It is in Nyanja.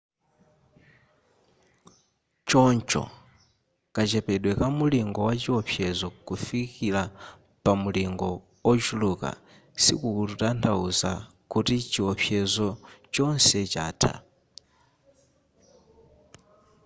choncho kachepedwe ka mulingo wa chiopsezo kufikira pa mulingo ochuluka sikukutanthauza kuti chiopsezo chonse chatha